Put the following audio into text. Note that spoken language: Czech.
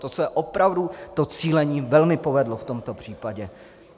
To se opravdu to cílení velmi povedlo v tomto případě.